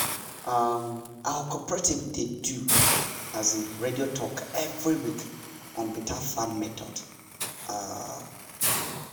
um our cooperative dey do um radio talk every week on better farm method. um